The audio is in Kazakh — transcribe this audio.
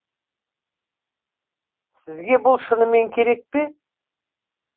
сізге бұл шынымен керек пе